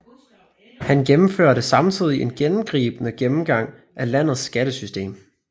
Han gennemførte samtidig en gennemgribende gennemgang af landets skattesystem